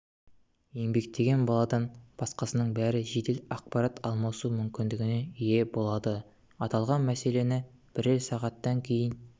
еңбектеген баладан басқасының бәрі жедел ақпарат алмасу мүмкіндігіне ие болады аталған мәселені бірер сағаттан кейін